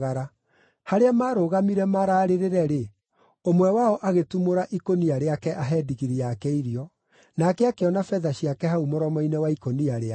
Harĩa maarũgamire mararĩrĩre-rĩ, ũmwe wao agĩtumũra ikũnia rĩake ahe ndigiri yake irio, nake akĩona betha ciake hau mũromo-inĩ wa ikũnia rĩake.